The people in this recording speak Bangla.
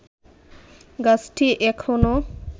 গাছটি এখনো